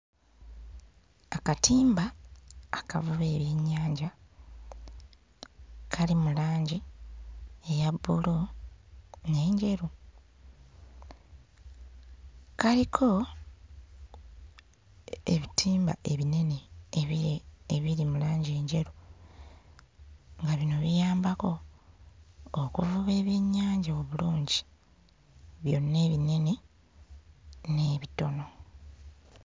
Akatimba akavuba ebyennyanja kali mu langi eya bbulu n'enjeru kaliko ebitimba ebinene ebiri ebiri mu langi enjeru nga bino biyambako okuvuba ebyennyanja obulungi byonna ebinene n'ebitono.